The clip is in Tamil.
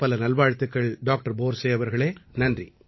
பலப்பல நல்வாழ்த்துக்கள் டாக்டர் போர்ஸே அவர்களே